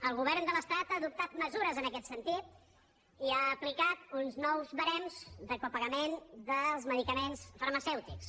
el govern de l’estat ha adoptat mesures en aquest sentit i ha aplicat uns nous barems de copagament dels medicaments farmacèutics